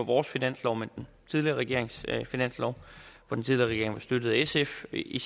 vores finanslov men den tidligere regerings finanslov og den tidligere regering var støttet af sf i